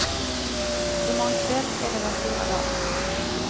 I morgon kväll är det den stora dagen.